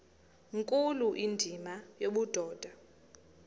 nkulu indima yobudoda